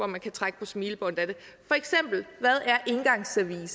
man kan trække på smilebåndet af hvad er engangsservice